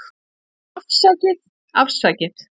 Afsakið, afsakið.